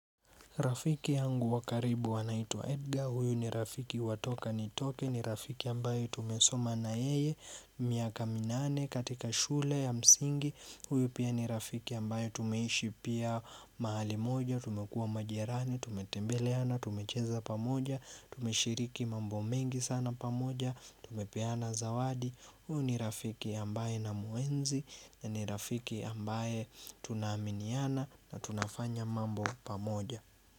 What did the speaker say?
Rafiki yangu wa karibu anaitwa Edgar, huyu ni rafiki wa toka nitoke, ni rafiki ambaye tumesoma na yeye, miaka minane katika shule ya msingi Huyu pia ni rafiki ambaye tumeishi pia mahali moja, tumekua majirani, tumetembeleana, tumecheza pamoja, tumeshiriki mambo mengi sana pamoja, tumepeana zawadi Huyu ni rafiki ambaye na muenzi, ni rafiki ambaye tunaaminiana na tunafanya mambo pamoja.